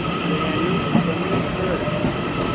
volume कमी कर